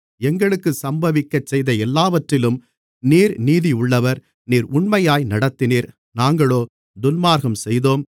எங்களுக்கு சம்பவிக்கச்செய்த எல்லாவற்றிலும் நீர் நீதியுள்ளவர் நீர் உண்மையாய் நடத்தினீர் நாங்களோ துன்மார்க்கம் செய்தோம்